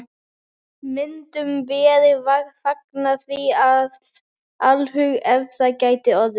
Myndum vér fagna því af alhug, ef það gæti orðið.